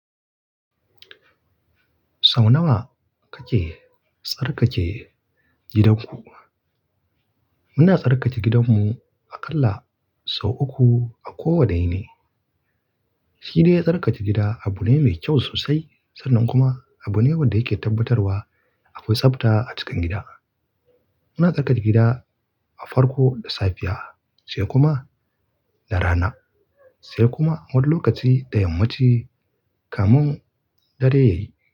Sau nawa kake tsarkake gidanku? Muna tsarkake gidanmu aƙalla sau uku a kowane yini. Shi dai tsarkake gida abu ne mai kyau sosai, sannan kuma abu ne wanda yake tabbatarwa akwai tsabta a cikin gida. Muna tsarkaka gida a farko da safiya sai kuma na rana, sai kuma wani lokaci da yammaci kamin dare ya yi.